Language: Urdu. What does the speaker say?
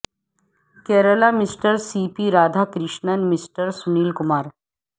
Kerala mister C P Radha Krishnan mister Sunil Kumar